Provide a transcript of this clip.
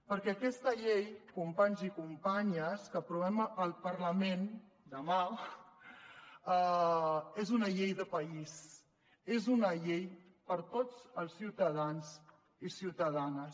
perquè aquesta llei companys i companyes que aprovarem al parlament demà és una llei de país és una llei per a tots els ciutadans i ciutadanes